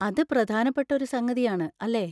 അത് പ്രധാനപ്പെട്ട ഒരു സംഗതി ആണ്, അല്ലേ?